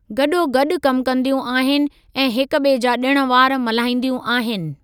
गडो॒गॾु कमु कंदियूं आहिनि ऐं हिक बि॒ए जा डि॒ण वार मल्हाईंदियूं आहिनि।